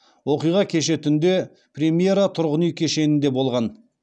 оқиға кеше түнде премьера тұрғын үй кешенінде болған